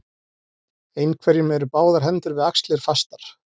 Einhverjum eru báðar hendur við axlir fastar